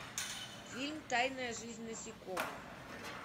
фильм тайная жизнь насекомых